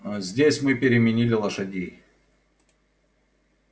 аа здесь мы переменили лошадей